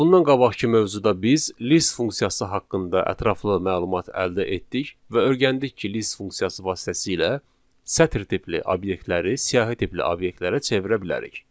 Bundan qabaqkı mövzuda biz list funksiyası haqqında ətraflı məlumat əldə etdik və öyrəndik ki, list funksiyası vasitəsilə sətir tipli obyektləri siyahı tipli obyektlərə çevirə bilərik.